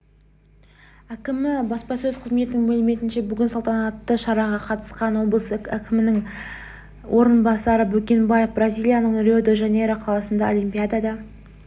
әкімі баспасөз қызметінің мәліметінше бүгінгі салтанатты шараға қатысқан облыс кімінің орынбасары бөкенбаев бразилияның рио-де-жанейро қаласындағы олимпиада